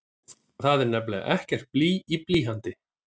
Það er nefnilega ekkert blý í blýanti!